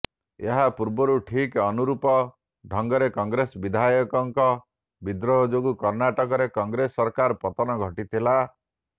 ଏହାପୂର୍ବରୁ ଠିକ୍ ଅନୁରୂପ ଢଙ୍ଗରେ କଂଗ୍ରେସ ବିଧାୟକଙ୍କ ବିଦ୍ରୋହ ଯୋଗୁଁ କର୍ଣ୍ଣାଟକରେ କଂଗ୍ରେସ ସରକାରର ପତନ ଘଟିଥିଲା